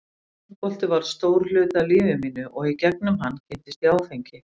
Handbolti varð stór hluti af lífi mínu og í gegnum hann kynntist ég áfengi.